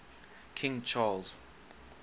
king charles